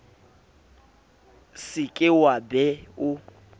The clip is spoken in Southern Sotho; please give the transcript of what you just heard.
se ke wa be o